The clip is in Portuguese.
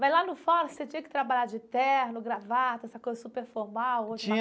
Mas lá no fórum, você tinha que trabalhar de terno, gravata, essa coisa super formal.